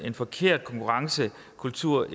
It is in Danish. forkert konkurrencekultur